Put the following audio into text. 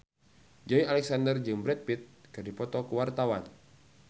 Joey Alexander jeung Brad Pitt keur dipoto ku wartawan